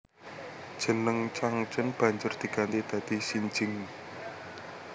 Jeneng Changchun banjur diganti dadi Xinjing